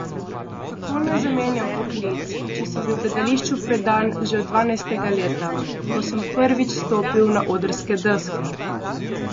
Kako naj zamenjam poklic, če sem bil gledališču predan že od dvanajstega leta, ko sem prvič stopil na odrske deske?